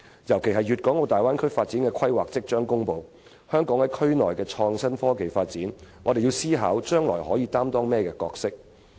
尤其是大灣區發展規劃即將公布，就香港在區內的創新科技發展，我們要思考將來可擔當甚麼角色。